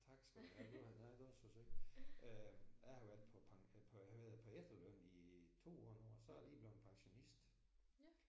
Tak skal du have det var et meget godt forsøg. Jeg har været på øh på hvad hedder det på efterløn i 2 år nu og så er jeg lige blevet pensionist